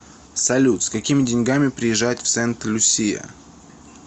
салют с какими деньгами приезжать в сент люсия